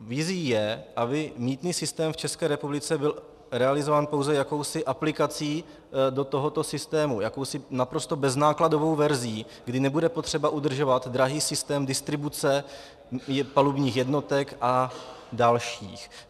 Vizí je, aby mýtný systém v České republice byl realizován pouze jakousi aplikací do tohoto systému, jakousi naprosto beznákladovou verzí, kdy nebude třeba udržovat drahý systém distribuce palubních jednotek a dalších.